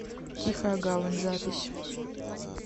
тихая гавань запись